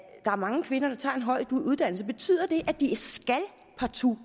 er mange kvinder der tager en høj uddannelse betyder at de partout